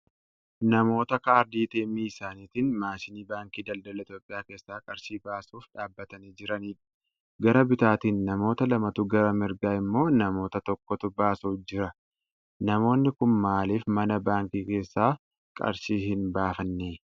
Namoota kaardii ATM isaaniitiin maashinii Baankii Daldala Itiyoophiyaa keessaa qarshii baasuuf dhaabbatanii jiranidha. Gara bitaatin namoota lamatu gara mirgaa immoo nama tokkotu baasuuf jira. Namoonni kun maaliif mana baankii keessaa qarshii hin baafannee?